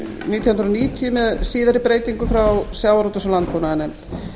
nítján hundruð níutíu með síðari breytingum frá sjávarútvegs og landbúnaðarnefnd